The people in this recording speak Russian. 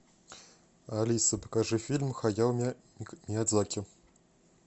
алиса покажи фильм хаяо миядзаки